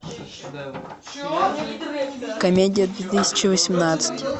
комедия две тысячи восемнадцать